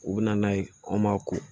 U bɛ na n'a ye an m'a ko